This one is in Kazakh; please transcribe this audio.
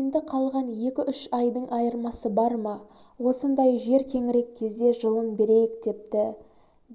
енді қалған екі-үш айдың айырмасы бар ма осындай жер кеңірек кезде жылын берейік депті